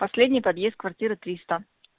последний подъезд квартира три сто